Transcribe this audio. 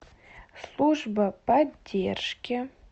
служба поддержки